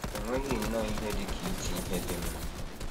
E nweghị nnọọ ihe dị ka iti ihe “ dị mma.. ”